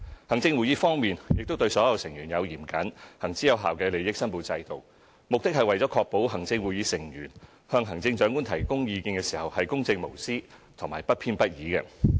行政會議方面，亦對所有成員設有嚴謹而行之有效的利益申報制度，目的是為確保行政會議成員向行政長官提供意見時公正無私和不偏不倚。